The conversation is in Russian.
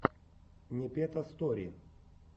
непета стори